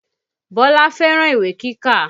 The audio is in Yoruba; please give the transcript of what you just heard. Bọ́lá fẹ́ràn ìwé kíkà